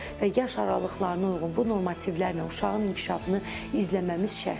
Və yaş aralıqlarına uyğun bu normativlərlə uşağın inkişafını izləməmiz şərtdir.